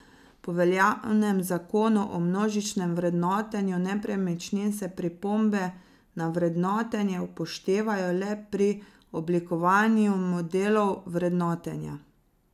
Po veljavnem zakonu o množičnem vrednotenju nepremičnin se pripombe na vrednotenje upoštevajo le pri oblikovanju modelov vrednotenja.